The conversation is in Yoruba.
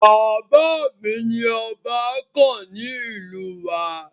Bàbá mi ni ọba kàn ní ìlú wa.